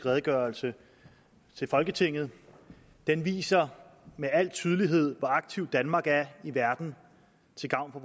redegørelse til folketinget den viser med al tydelighed hvor aktiv danmark er i verden til gavn